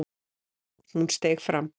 Hún steig fram.